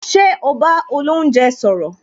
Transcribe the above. Ṣé o bá olounje sọ̀rọ̀